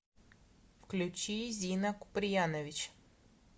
включи зина куприянович